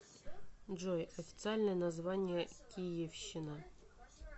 джой официальное название киевщина